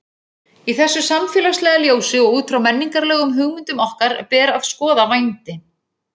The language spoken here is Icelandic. Í þessu samfélagslega ljósi og út frá menningarlegum hugmyndum okkar ber að skoða vændi.